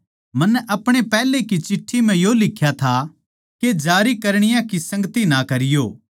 मन्नै अपणी पैहले की चिट्ठी म्ह यो लिख्या था के जारी करणीया की संगति ना करीयो